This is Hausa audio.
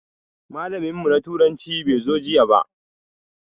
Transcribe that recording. Malamin mu na turanci bai zo jiya ba.